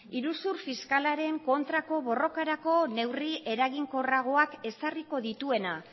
iruzur fiskalaren kontrako borrokarako neurri eraginkorragoak ezarriko dituena